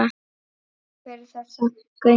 Takk fyrir þessa göngu.